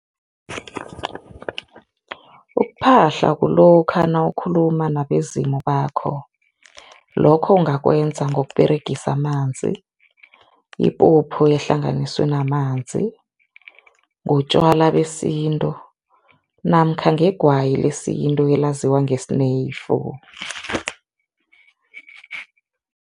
Ukuphahla kulokha nawukhuluma nabezimu bakho. Lokho ungakwenza ngokUberegisa amanzi, ipuphu ehlanganiswe namanzi, ngotjwala besintu namkha ngegwayi lesintu elaziwa ngesineyifu.